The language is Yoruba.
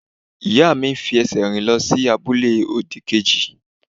Ìyá mi ń fi ẹsẹ̀ rìn lọ sí abúlé òdì-kejì.